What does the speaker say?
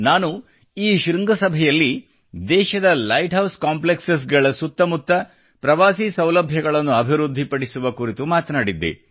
ನಾನು ಈ ಶೃಂಗಸಭೆಯಲ್ಲಿ ದೇಶದ ಲೈಟ್ ಹೌಸ್ ಕಾಂಪ್ಲೆಕ್ಸ್ ಗಳ ಸುತ್ತಮುತ್ತ ಪ್ರವಾಸಿ ಸೌಲಭ್ಯಗಳನ್ನು ಅಭಿವೃದ್ಧಿ ಪಡಿಸುವ ಕುರಿತು ಮಾತನಾಡಿದ್ದೆ